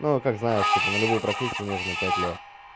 ну как знаешь типа на любую профессию нужно пять лет